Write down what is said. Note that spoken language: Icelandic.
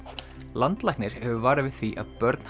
landlæknir hefur varað við því að börn